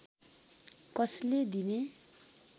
कसले दिने